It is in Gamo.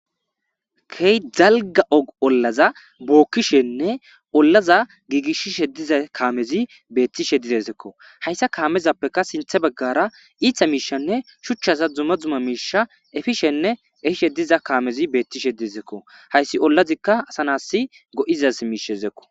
Key zalga og ollaza bookkishenne ollaza giigishishe diza kaamezi beettishe didezekko hayssa kaamezappeka sinthe baggara iitha miishanne shuchchaza dzuma dzuma miisha efishenne efishe diza kaamezi beettishe diezekko hayssi ollazikka asanasi go'izas miishezekko.